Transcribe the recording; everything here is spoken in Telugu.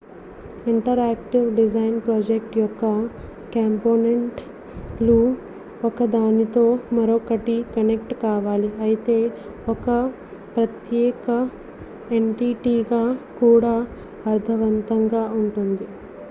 ఇంటరాక్టివ్ డిజైన్ ప్రాజెక్ట్ యొక్క కాంపోనెంట్ లు ఒకదానితో మరొకటి కనెక్ట్ కావాలి అయితే ఒక ప్రత్యేక ఎంటిటీగా కూడా అర్ధవంతంగా ఉంటుంది